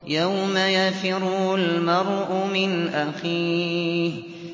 يَوْمَ يَفِرُّ الْمَرْءُ مِنْ أَخِيهِ